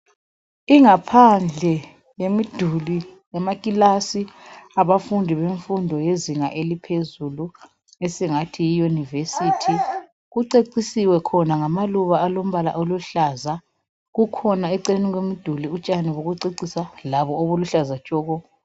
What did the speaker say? Ingaphandle yemiduli yamaclass yabafundi bezinga eliphezulu esingathi yi university kucecisiwe sibona ngamaluba alombala oluhlaza kukhona eceleni komduli utshani bokucecisa labo obuluhlaza tshoko